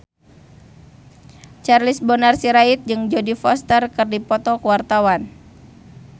Charles Bonar Sirait jeung Jodie Foster keur dipoto ku wartawan